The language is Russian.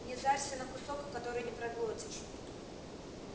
не зарься на кусок который не проглотишь